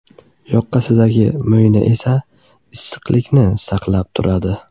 Yoqasidagi mo‘yna esa issiqlikni saqlab turadi.